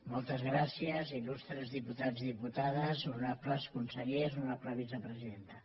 moltes gràcies il·lustres diputats i diputades honorables consellers honorable vicepresidenta